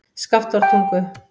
Skaftártungu